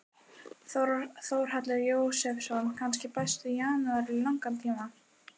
Þórhallur Jósefsson: Kannski besti janúar í langan tíma?